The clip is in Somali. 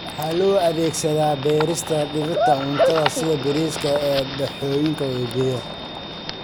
Waxaa loo adeegsadaa beerista dhirta cuntada sida bariiska ee dooxooyinka webiyada.